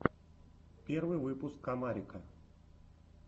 первый выпуск комарика